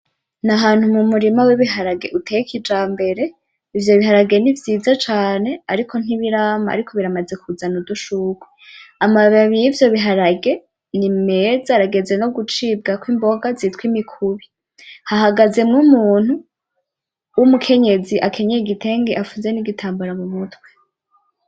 N'ahantu mu murima w'ibiharage uteye kijambere. Ivyo biharage ni vyiza cane ariko nti birama ariko biramaze kuzana udushurwe. Amababi y'ivyo biharage, ni meza arageze no gucibwa ko imboga zitwa imikubi. Hahagazemo umuntu w'umukenyezi akanyeye igitenge afunze n'igitambara mu mutwe.